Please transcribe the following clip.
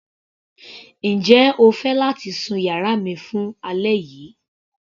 Njẹ́ o fẹ́ láti sun yàrá mi fún alẹ́ yìí.